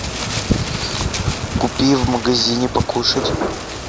купи в магазине покушать